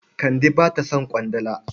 Kande ba ta son ƙwandala.